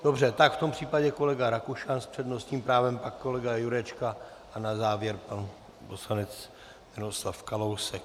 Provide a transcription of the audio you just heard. Dobře, tak v tom případě kolega Rakušan s přednostním právem, pak kolega Jurečka a na závěr pan poslanec Miroslav Kalousek.